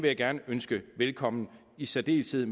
jeg gerne ønske velkommen i særdeleshed i